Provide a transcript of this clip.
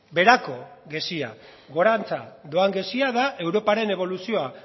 beherako gezia gorantza doan gezia da europaren eboluzioa